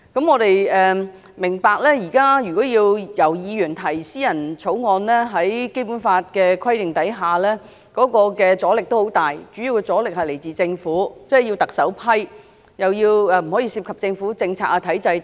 我們明白現在議員要提出私人條例草案，在《基本法》的規定下，會有很大阻力，主要來自政府，要特首批准，又不可以涉及政府政策和體制等。